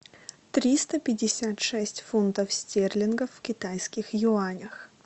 триста пятьдесят шесть фунтов стерлингов в китайских юанях